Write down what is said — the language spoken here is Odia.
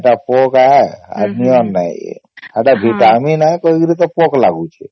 ଏଟା ପୋକ ଆୟ ହେ ନିଅର ନାଇଁ ସେଟା vitamin ନାଇଁ କରିକି ତ ପୋକ ଲାଗୁଛେ